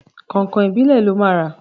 Kọ̀nkọ̀n ìbílẹ̀ lọ máa rà.